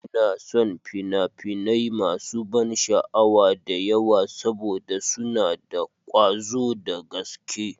Ina son fina-finai masu ban sha'awa da yawa saboda suna da ƙwazo da gaske.